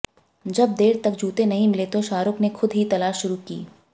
जब देर तक जूते नहीं मिले तो शाहरुख ने खुद ही तलाश शुरू की